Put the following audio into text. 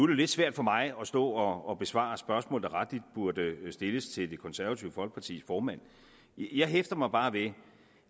det lidt svært for mig at stå og besvare et spørgsmål der rettelig burde stilles til det konservative folkepartis formand jeg hæfter mig bare ved